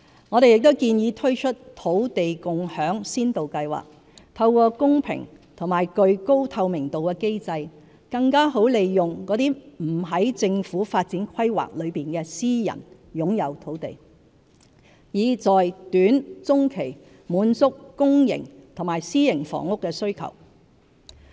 我們亦建議推出"土地共享先導計劃"，透過公平和具高透明度的機制，更好利用那些不在政府發展規劃內的私人擁有土地，以在短中期滿足公營和私營房屋的需求。